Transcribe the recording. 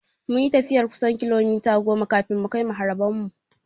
Mun yi tafiyar kusan kilomita goma kafin mukai maharaban mu.